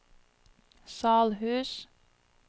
Salhus